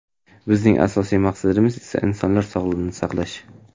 Bizning asosiy maqsadimiz esa insonlar sog‘lig‘ini saqlash.